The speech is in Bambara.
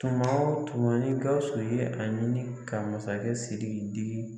Tuma o tuma ni Gawusu ye a ɲini ka masakɛ Siriki